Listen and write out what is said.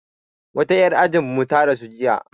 Wata 'yar ajin mu ta rasu jiya